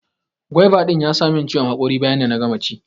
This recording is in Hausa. gwaiva din ya sa min ciwon hakori bayan da na gama ci